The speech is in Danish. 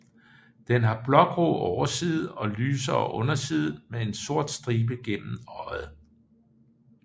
Den har blågrå overside og lysere underside med en sort stribe gennem øjet